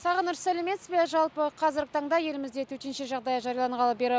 сағыныш сәлеметсіз бе жалпы қазіргі таңда елімізде төтенше жағдай жарияланғалы бері